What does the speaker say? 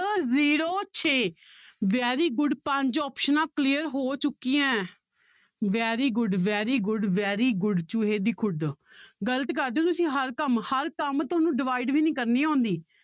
Zero ਛੇ very good ਪੰਜ ਆਪਸਨਾਂ clear ਹੋ ਚੁੱਕੀਆਂ ਹੈ very good very good very good ਚੂਹੇ ਦੀ ਖੁੱਡ ਗ਼ਲਤ ਕਰਦੇ ਹੋ ਤੁਸੀਂ ਹਰ ਕੰਮ, ਹਰ ਕੰਮ ਤੁਹਾਨੂੰ divide ਵੀ ਨੀ ਕਰਨੀ ਆਉਂਦੀ